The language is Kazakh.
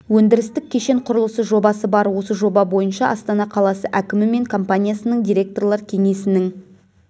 өндірістік кешен құрылысы жобасы бар осы жоба бойынша астана қаласы әкімі мен компаниясының директорлар кеңесінің